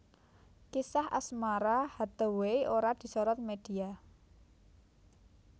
Kisah asmara Hathaway ora disorot media